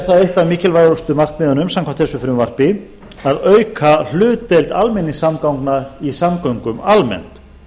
það eitt af mikilvægustu markmiðunum samkvæmt þessu frumvarpi að auka hlutdeild almenningssamgangna í samgöngum almennt